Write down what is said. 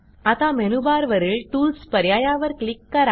आता मेनूबारवरील टूल्स पर्यायावर क्लिक करा